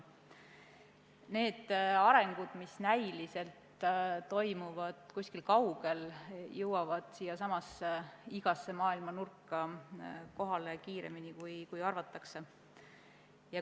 Need sündmused, mis näiliselt toimuvad kuskil kaugel, jõuavad siiasamasse ja igasse muusse maailma nurka kohale kiiremini, kui arvatakse.